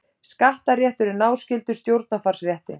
Skattaréttur er náskyldur stjórnarfarsrétti.